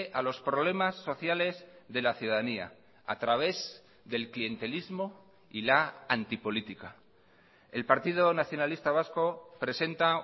a los problemas sociales de la ciudadanía a través del clientelismo y la anti política el partido nacionalista vasco presenta